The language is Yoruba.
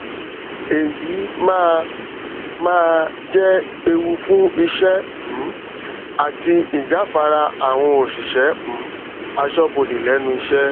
èyí máa máa jẹ ewu fún iṣẹ um àti ijafara àwọn òṣìṣẹ um asọbode lẹnu ìṣẹ